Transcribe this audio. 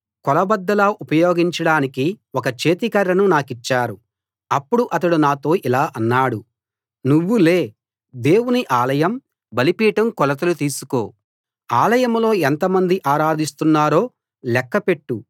కొలబద్దలా ఉపయోగించడానికి ఒక చేతి కర్రను నాకిచ్చారు అప్పుడు అతడు నాతో ఇలా అన్నాడు నువ్వు లే దేవుని ఆలయం బలిపీఠం కొలతలు తీసుకో ఆలయంలో ఎంతమంది ఆరాధిస్తున్నారో లెక్క పెట్టు